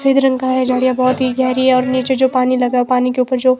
सफेद रंग का है झाड़ियां बहुत ही गहरी है और नीचे जो पानी लगा है पानी के ऊपर जो--